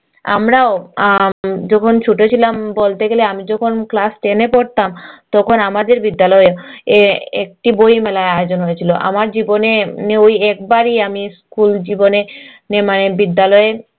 আমরাও আম যখন ছোট ছিলাম বলতে গেলে আমি যখন class ten এ পড়তাম তখন আমাদের বিদ্যালয়েও একটি বই মেলার আয়োজন হয়েছিল আমার জীবনে ওই একবারই আমি school জীবনে নে মানে বিদ্যালয়ে